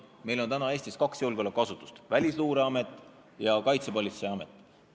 Meil on Eestis kaks julgeolekuasutust: Välisluureamet ja Kaitsepolitseiamet.